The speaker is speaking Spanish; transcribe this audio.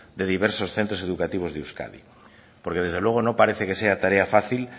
de diversos centros educativos de euskadi porque desde luego no parece que sea tarea fácil